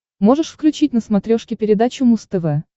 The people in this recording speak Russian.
можешь включить на смотрешке передачу муз тв